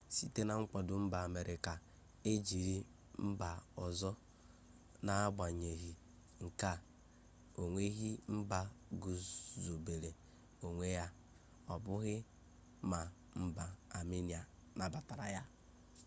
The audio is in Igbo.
site na nkwado mba amerịka ejere mba ọzọ n'agbanyeghị nke a onweghị mba guzobere onwe ya ọbughị ma mba amenia nabatara ya